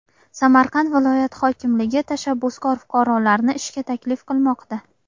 Samarqand viloyat hokimligi tashabbuskor fuqarolarni ishga taklif qilmoqda.